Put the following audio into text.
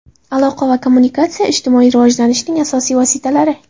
Aloqa va kommunikatsiya ijtimoiy rivojlanishning asosiy vositalari.